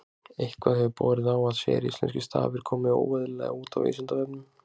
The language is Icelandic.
Eitthvað hefur borið á að séríslenskir stafir komi óeðlilega út á Vísindavefnum.